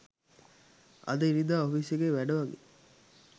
අද ඉරිදා ඔෆිස් එකේ වැඩ වගේ